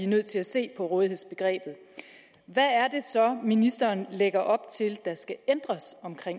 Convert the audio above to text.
nødt til at se på rådighedsbegrebet hvad er det så ministeren lægger op til der skal ændres